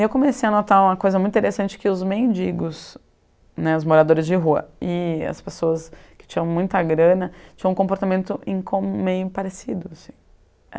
Eu comecei a notar uma coisa muito interessante, que os mendigos né, os moradores de rua e as pessoas que tinham muita grana tinham um comportamento meio parecido assim.